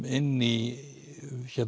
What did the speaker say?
inn í